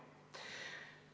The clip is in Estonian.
Teine küsimus.